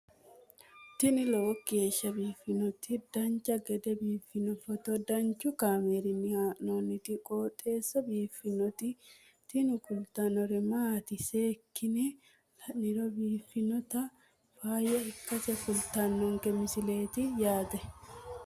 tini lowo geeshsha biiffannoti dancha gede biiffanno footo danchu kaameerinni haa'noonniti qooxeessa biiffannoti tini kultannori maatiro seekkine la'niro biiffannota faayya ikkase kultannoke misileeti yaate